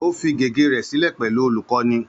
Ó fi gègé rẹ̀ sílẹ̀ pẹ̀lú olùkọ́ni